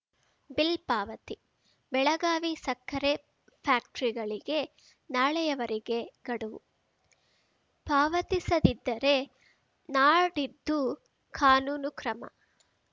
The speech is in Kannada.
ಬಿಲ್‌ ಪಾವತಿ ಬೆಳಗಾವಿ ಸಕ್ಕರೆ ಫ್ಯಾಕ್ಟ್ರಿಗಳಿಗೆ ನಾಳೆಯವರೆಗೆ ಗಡುವು ಪಾವತಿಸದಿದ್ದರೆ ನಾಡಿದ್ದು ಕಾನೂನು ಕ್ರಮ